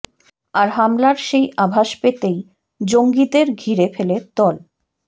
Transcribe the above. আর হামলার সেই আভাস পেতেই জঙ্গিদের ঘিরে ফেলে তল